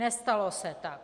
Nestalo se tak.